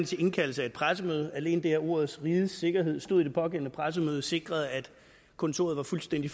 til indkaldelse af et pressemøde alene det at ordene rigets sikkerhed stod i det pågældende pressemøde sikrede at kontoret var fuldstændig